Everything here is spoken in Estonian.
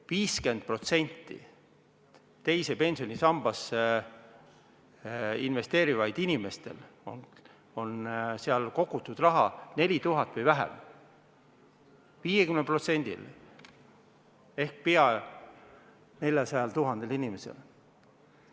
50%-l teise pensionisambasse investeerivatest inimestest on sinna kogutud 4000 eurot või vähem, 50%-l ehk peaaegu 400 000 inimesel.